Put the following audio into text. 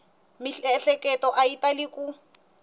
miehleketo a yi tali ku